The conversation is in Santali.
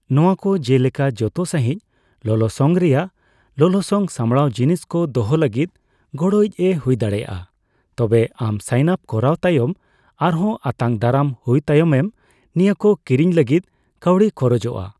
ᱱᱚᱣᱟᱠᱚ ᱡᱮᱞᱮᱠᱟ ᱡᱚᱛᱚ ᱥᱟᱹᱸᱦᱤᱡ ᱞᱚᱞᱚᱥᱚᱝ ᱨᱮᱭᱟᱜ ᱞᱚᱞᱚᱥᱚᱝ ᱥᱟᱢᱲᱟᱣ ᱡᱤᱱᱤᱥᱠᱚ ᱫᱚᱦᱚ ᱞᱟᱹᱜᱤᱫ ᱜᱚᱲᱚᱤᱪ ᱮ ᱦᱩᱭᱫᱟᱲᱮᱭᱟᱜᱼᱟ, ᱛᱚᱵᱮ ᱟᱢ ᱥᱟᱤᱱ ᱟᱯ ᱠᱚᱨᱟᱣ ᱛᱟᱭᱚᱢ ᱟᱨᱦᱚᱸ ᱟᱛᱟᱝ ᱫᱟᱨᱟᱢ ᱦᱩᱭ ᱛᱟᱭᱚᱢ ᱢᱚ ᱱᱤᱭᱟᱹᱠᱚ ᱠᱤᱨᱤᱧ ᱞᱟᱹᱜᱤᱫ ᱠᱟᱹᱣᱰᱤ ᱠᱷᱚᱨᱚᱡ ᱟ᱾